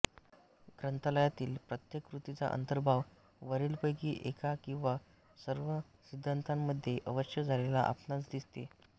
ग्रंथालयातील प्रत्येक कृतीचा अंतर्भाव वरीलपैकी एका किंवा सर्व सिद्धांतांमध्ये अवश्य झालेला आपणांस दिसेल